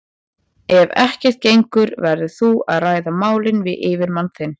Ef ekkert gengur verður þú að ræða málin við yfirmann þinn.